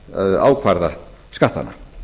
að ákvarða skattana